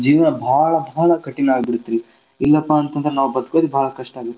ಬಾಳ್ ಬಾಳ್ ಕಠಿಣ ಆಗ್ಬಿಡ್ತ್ರಿ ಇಲ್ಲಪಾ ಅಂತಂದ್ರ ನಾವ್ ಬದಕೋದ್ ಬಾಳ್ ಕಷ್ಟ ಆಗುತ್ತರಿ